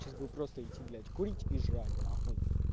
сейчас бы просто идти блять курить и жрать нахуй